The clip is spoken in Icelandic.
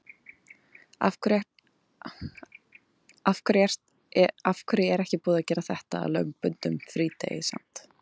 Af hverju er ekki búið að gera þetta að lögbundnum frídegi samt?